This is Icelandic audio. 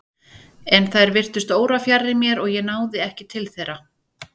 En þær virtust órafjarri mér og ég náði ekki til þeirra.